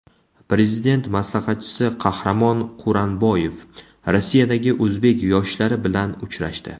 Prezident maslahatchisi Qahramon Quranboyev Rossiyadagi o‘zbek yoshlari bilan uchrashdi .